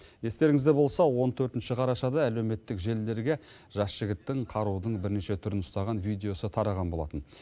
естеріңізде болса он төртінші қарашада әлеуметтік желілерге жас жігіттің қарудың бірнеше түрін ұстаған видеосы тараған болатын